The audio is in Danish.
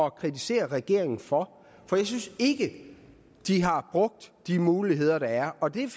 at kritisere regeringen for for jeg synes ikke de har brugt de muligheder der er og det